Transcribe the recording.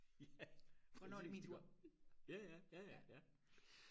ja præcist iggå ja ja ja ja